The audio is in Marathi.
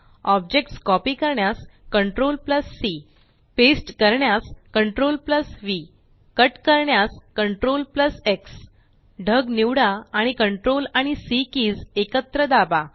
ऑब्जेक्ट्स कॉपी करण्यास CTRLC पेस्ट करण्यास CTRLV कट करण्यास CTRLX ढग निवडा आणि CTRL आणि सी किज एकत्र दाबा